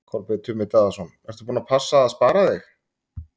Kolbeinn Tumi Daðason: Ertu búin að passa að spara þig?